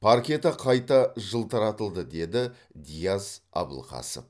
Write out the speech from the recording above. паркеті қайта жылтыратылды деді диас абылқасов